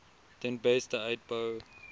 ten beste uitbou